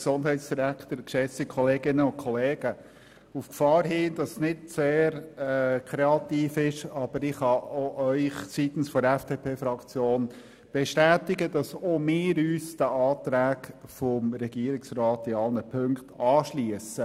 Auf die Gefahr hin, nicht sehr kreativ zu sein, kann ich Ihnen auch seitens der FDP-Fraktion bestätigen, dass wir uns den Anträgen des Regierungsrats in allen Punkten anschliessen.